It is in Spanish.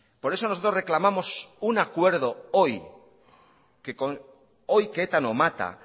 por eso nosotros reclamamos un acuerdo hoy que con hoy que eta no mata